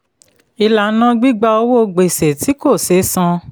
ìlànà gbígba owó gbèsè tí kò sé san.